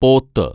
പോത്ത്